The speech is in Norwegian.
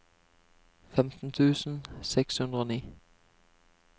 femten tusen seks hundre og ni